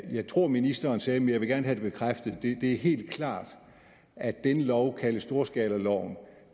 jeg tror ministeren sagde men jeg vil gerne have det bekræftet det er helt klart at denne lov kaldet storskalaloven